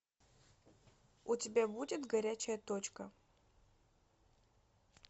у тебя будет горячая точка